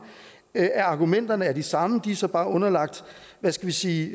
af argumenterne er de samme de er så bare underlagt hvad skal vi sige